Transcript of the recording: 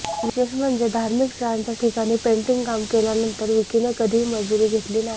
विशेष म्हणजे धार्मिक स्थळांच्या ठिकाणी पेंटिंग काम केल्यानंतर विकीने कधीही मजुरी घेतली नाही